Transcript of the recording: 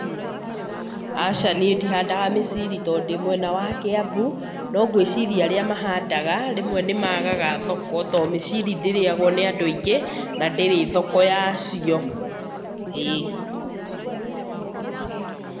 Aca niĩ ndihandaga mĩciri tondũ ndĩ mwena wa Kĩambu no ngwĩciria arĩa mahandaga rĩmwe nĩ magaga thoko, tondũ mĩciri ndĩrĩagwo nĩ andũ aingĩ na ndĩrĩ thoko yacio, ĩĩ.